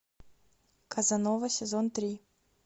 казанова сезон три